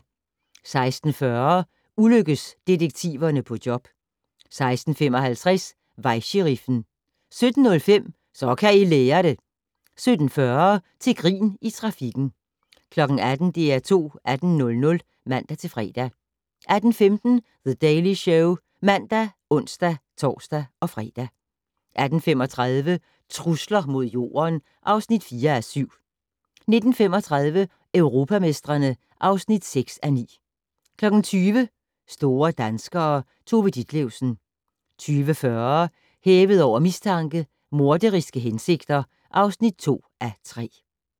16:40: Ulykkes-detektiverne på job 16:55: Vejsheriffen 17:05: Så kan I lære det! 17:40: Til grin i trafikken 18:00: DR2 18:00 (man-fre) 18:15: The Daily Show (man og ons-fre) 18:35: Trusler mod Jorden (4:7) 19:35: Europamestrene (6:9) 20:00: Store danskere - Tove Ditlevsen 20:40: Hævet over mistanke: Morderiske hensigter (2:3)